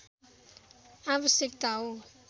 आवश्यकता हो